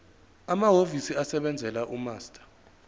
amahhovisi asebenzela umaster